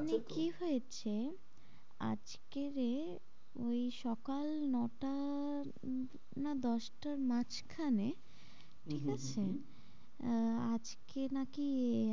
আছে তো ওখানে কি হয়েছে আজকে যে ওই সকাল নটার না দশটার মাঝখানে হম হম ঠিকআছে আহ আজকে না কি